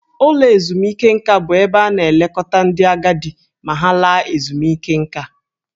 Ụlọ ezumike nka bụ ebe a na-elekọta ndị agadi ma ha laa ezumike nká.